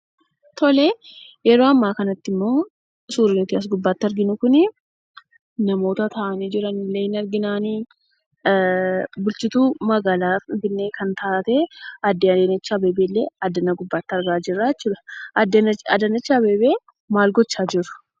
Tolee, yeroo ammaa kanattimmoo suurri nuti as gubbaatti arginu kunii namoota taa'anii jiranillee ni arginaanii, bulchituu magaalaa Finfinnee kan taatee Aadde Adaanechi Abeebeellee addana gubbaatti argaa jirraa jechuudha. Aadde Adaanach Abeebee maal gochaa jiru?